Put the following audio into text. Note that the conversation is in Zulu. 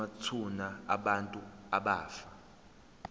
kwamathuna abantu abafa